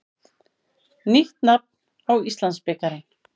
Nýtt nafn á Íslandsbikarinn.